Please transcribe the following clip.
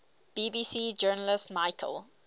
bbc journalist michael